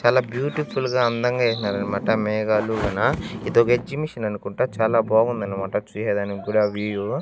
చాలా బ్యూటిఫుల్ గా అందంగా ఏస్నారనమాట మేఘాలు గాన ఇదొక ఎగ్జిమిషన్ అనుకుంటా చాలా బాగుందనమాట చూసేదానికి కూడా ఆ వ్యూ .